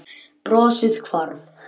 Brosið hvarf.